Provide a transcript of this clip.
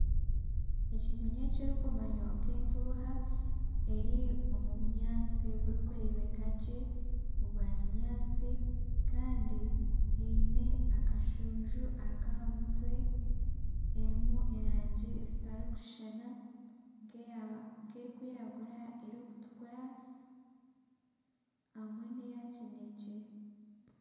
Ekinyonyi ekirikumanywa nka entuuha eri omu bunyaatsi oburikureebeka gye obwa kinyaatsi kandi eine akashuunju ak'aha mutwe erimu erangi ezitarikushushana nka erikwiragura, erikutukura hamwe neya kinekye.